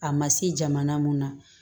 A ma se jamana mun na